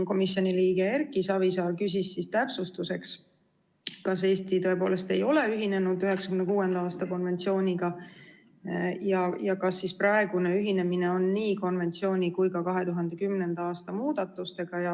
Komisjoni liige Erki Savisaar küsis täpsustuseks, kas Eesti tõepoolest ei ole ühinenud 1996. aasta konventsiooniga ja kas praegune ühinemine on ühinemine nii konventsiooni kui ka 2010. aasta muudatustega.